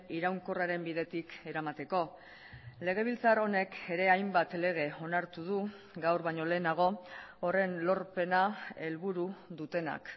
iraunkorraren bidetik eramateko legebiltzar honek ere hainbat lege onartu du gaur baino lehenago horren lorpena helburu dutenak